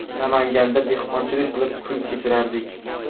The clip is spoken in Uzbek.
Namanganda dehqonchilik qilib kun kechirardik.